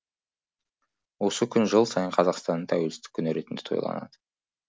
осы күн жыл сайын қазақстанның тәуелсіздік күні ретінде тойланады